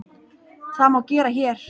Það má gera HÉR.